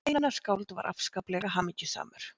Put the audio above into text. Einar skáld var afskaplega hamingjusamur.